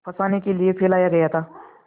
फँसाने के लिए फैलाया गया था